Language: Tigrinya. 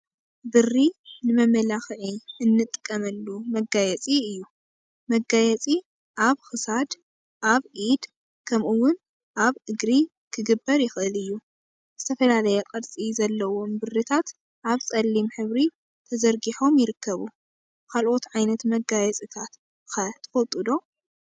ብሪ ንመመላክዒ እንጥቀመሉ መጋየፂ እዩ፡፡ መጋየፂ አብ ክሳድ፣ አብ ኢድ ከምኡውን አብ እግሪ ክግበር ይክእል እዩ፡፡ ዝተፈላለየ ቅርፂ ዘለዎም ብሪታት አብ ፀሊም ሕብሪ ተዘርጊሖም ይርከቡ፡፡ ካልኦት ዓይነት መጋየፂታት ከ ትፈልጡ ዶ?